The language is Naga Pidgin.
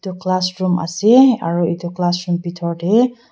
etu class room ase aru etu class room bithor teh--